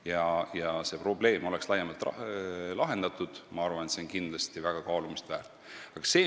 Nii oleks see probleem laiemalt lahendatud ja ma arvan, et see on kindlasti kaalumist väärt.